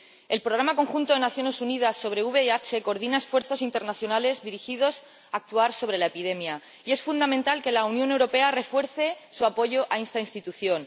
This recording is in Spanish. El Programa Conjunto de las Naciones Unidas sobre el VIH sida coordina esfuerzos internacionales dirigidos a actuar sobre la epidemia, y es fundamental que la Unión Europea refuerce su apoyo a esta institución.